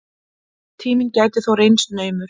Tíminn gæti þó reynst naumur.